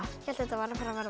hélt þetta væri að fara að verða